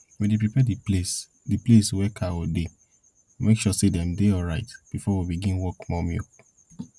we dey prepare de place de place wey cow dey make sure say dem dey alright before we begin work for more milk